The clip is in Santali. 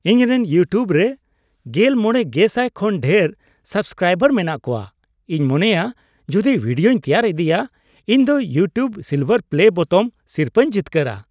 ᱤᱧᱨᱮᱱ ᱤᱭᱩᱴᱤᱭᱩᱵ ᱨᱮ ᱕᱐,᱐᱐᱐ ᱠᱷᱚᱱ ᱰᱷᱮᱨ ᱥᱟᱵᱥᱠᱨᱟᱭᱵᱟᱨ ᱢᱮᱱᱟᱜ ᱠᱚᱣᱟ ᱾ ᱤᱧ ᱢᱚᱱᱮᱭᱟ ᱡᱩᱫᱤ ᱵᱷᱤᱰᱤᱭᱳᱧ ᱛᱮᱭᱟᱨ ᱤᱫᱤᱭᱟ, ᱤᱧ ᱫᱚ "ᱤᱭᱩᱴᱤᱭᱩᱵ ᱥᱤᱞᱵᱷᱟᱨ ᱯᱞᱮ ᱵᱳᱛᱟᱢ" ᱥᱤᱨᱯᱟᱹᱧ ᱡᱤᱛᱠᱟᱹᱨᱟ ᱾